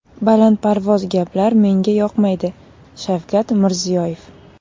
Balandparvoz gaplar menga yoqmaydi” Shavkat Mirziyoyev.